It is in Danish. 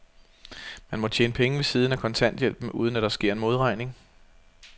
Må man tjene penge ved siden af kontanthjælpen, uden at der sker en modregning?